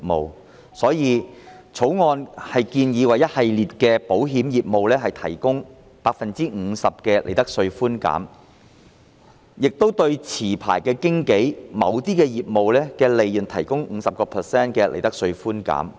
因此，《條例草案》建議為一系列的保險業務提供 50% 的利得稅寬減，亦對持牌經紀的某些業務的利潤提供 50% 的利得稅寬減。